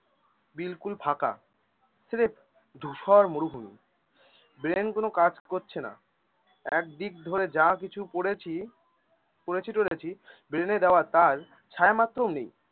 বিলকুল ফাঁকা ধুসর মরুভূমি। brain কোন কাজ করছে না, একদিক ধরে যা কিছু পড়েছি, পড়েছি টরেছি brain এ দেওয়া তার ছায়া মাত্রও নেই